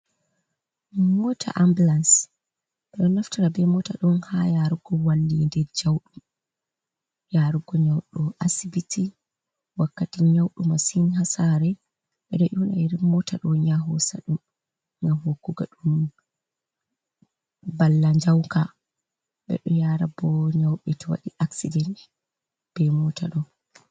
Moota ambalance ɓe ɗo naftora bee moota ɗo haa yaarugo walliinde jawɗum, yaarugo nyawdo asibiti wakkati nyawu masin haa saare, ɓe ɗo ƴoona iri mota ɗo'o ya hoosa dum ngam hokkugo ɗum mballa njauka ɓe ɗo yaara boo nyawbe to waɗi accident bee moota ɗo'o.